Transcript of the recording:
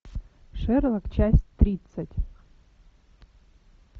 шерлок часть тридцать